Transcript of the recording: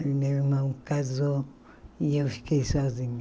E meu irmão casou e eu fiquei sozinha.